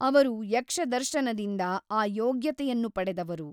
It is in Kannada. ಅವರು ಯಕ್ಷದರ್ಶನದಿಂದ ಆ ಯೋಗ್ಯತೆಯನ್ನು ಪಡೆದವರು.